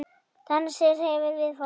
Dansinn hreyfir við fólki.